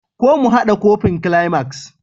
ko mu hada kufin climax?